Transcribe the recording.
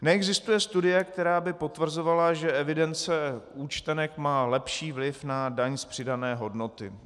Neexistuje studie, která by potvrzovala, že evidence účtenek má lepší vliv na daň z přidané hodnoty.